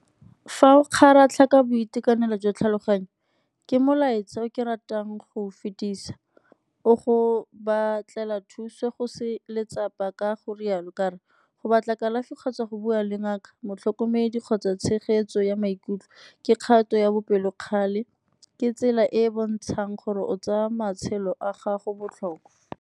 Fa o kgaratlha ka boitekanelo jwa tlhaloganyo, ke molaetsa o ke ratang go o fetisa o go batlela thuso go se letsapa ka go rialo ka re go batla kalafi kgotsa go bua le ngaka, motlhokomedi kgotsa tshegetso ya maikutlo ke kgato ya bopelokgale, ke tsela e e bontshang gore o tsaya matshelo a gago botlhokwa.